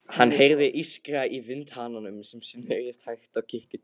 Hann heyrði ískra í vindhananum sem snerist hægt á kirkjuturninum.